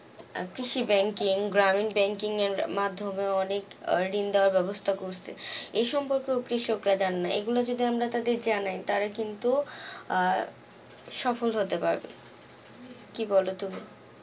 আহ কৃষি banking গ্রামীন banking এর মাধ্যমে অনেক আহ ঋণ দেয়ার ব্যবস্থা করছে, এই সম্পর্কেও কৃষকরা জানে না এগুলো সম্পর্কে যদি আমরা তাদের জানাই তার কিন্তু আহ সফল হতে পারবে, কি বল তুমি?